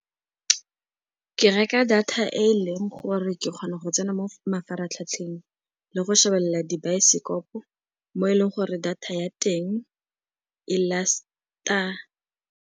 Ke reka data e e leng gore ke kgona go tsena mo mafaratlhatlheng le go šebella dibaesekopo mo e leng gore data ya teng e last-a.